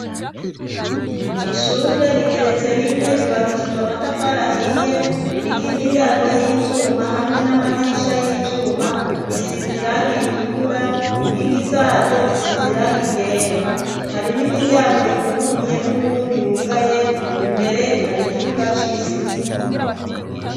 Ishure rigeretse rimwe ryubakishijw' amatafar' ahiye ririk' imiryango y'ivyuma hamwe n'amadirisha y'ivyuma bisiz' irang' iritukura, inkingi zaryo zisizirang' ryera hari n' imiryango yuguruye n'uwundi wugaye, imbere har' ikibuga kirimw' utubuye dutoduto tuvanze n' ivu.